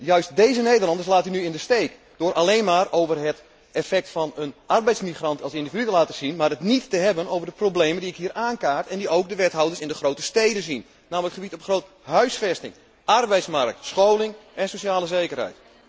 Juist deze Nederlanders laat u nu in de steek door alleen maar over het effect van een arbeidsmigrant als individu te praten, maar het niet te hebben over de problemen die ik hier aankaart en die ook de wethouders in de grote steden zien, namelijk op het gebied van huisvesting, arbeidsmarkt, scholing en sociale zekerheid.